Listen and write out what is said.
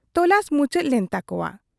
ᱛᱚᱞᱟᱥ ᱢᱩᱪᱟᱹᱫ ᱞᱮᱱ ᱛᱟᱠᱚᱣᱟ ᱾